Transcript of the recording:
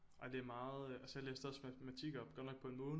Ej det er meget jeg læste også matematik op godt nok på en måned